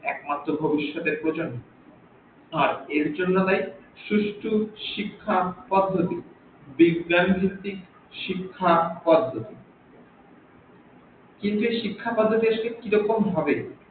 একমাত্র ভবিশ্যতের প্রজন্ম আর এর জন্য দায়ী সুস্থ শিক্ষা পদ্ধতি বিজ্ঞান ভিত্তিক শিক্ষা পদ্ধতি কিন্তু এই শিক্ষা পদ্ধতি দেশ কে কিরকম হবে